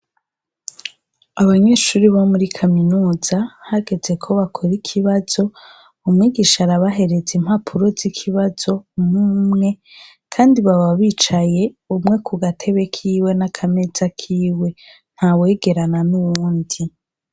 Abanyeshuri bo muri kaminuza hageze ko bakora ikibazo umwigisha arabahereze impapuro z'ikibazo mumwe, kandi baba bicaye umwe ku gatebe kiwe n'akameza kiwe nta wegerana n'uwundi.